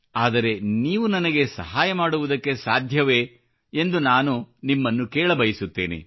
ಆದರೆ ನೀವು ನನಗೆ ಸಹಾಯ ಮಾಡುವುದಕ್ಕೆ ಸಾಧ್ಯವೇ ಎಂದು ನಾನು ನಿಮ್ಮನ್ನು ಕೇಳ ಬಯಸುತ್ತೇನೆ